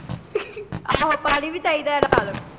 ਆਹੋ ਪਾਣੀ ਵੀ ਚਾਹੀਦਾ ਹੈ ਨਾਲ।